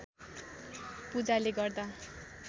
पूजाले गर्दा